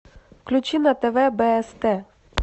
включи на тв бст